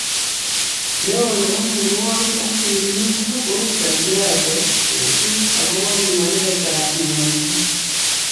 Neo nebo mnyenwokik ak tililindo komi Kajiado kosub akopo pimanet ab mnyendo.